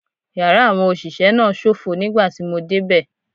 Yàrá àwọn òṣìṣẹ́ náà ṣófo nígbà tí mo dé bẹ̀.